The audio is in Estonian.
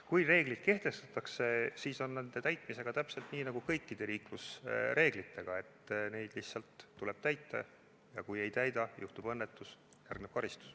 Kui reeglid kehtestatakse, siis on nende täitmisega täpselt nii nagu kõikide liiklusreeglite täitmisega, et neid lihtsalt tuleb täita ja kui ei täida, juhtub õnnetus ja järgneb karistus.